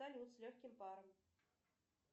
салют с легким паром